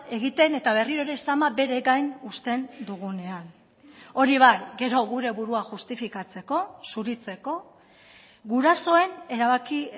egiten eta berriro ere sama bere gain usten dugunean hori bai gero gure burua justifikatzeko zuritzeko gurasoen erabaki